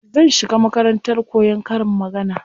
Zan shiga makarantar koyan karin magana.